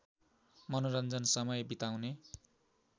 मनोरञ्जन समय बिताउने